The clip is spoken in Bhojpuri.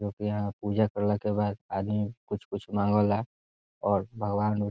लोग यहाँ पूजा करला के बाद आदमी कुछ कुछ मंगला और भगवन उ --